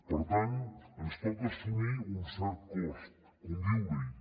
per tant ens toca assumir un cert cost conviure hi